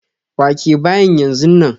Wake bayin yanzu nan!